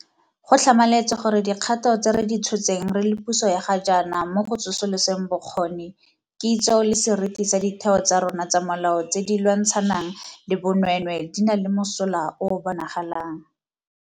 Go tlhamaletse gore dikgato tse re di tshotseng re le puso ya ga jaana mo go tsosoloseng bokgoni, kitso le seriti sa ditheo tsa rona tsa molao tse di lwantshanang le bonweenwee di na le mosola o o bonagalang.